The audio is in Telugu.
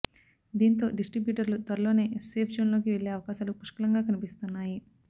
దీంతో డిస్ట్రిబ్యూటర్లు త్వరలోనే సేఫ్ జోన్లోకి వెళ్లే అవకాశాలు పుష్కలంగా కనిపిస్తున్నాయి